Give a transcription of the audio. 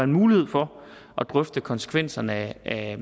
mulighed for at drøfte konsekvenserne af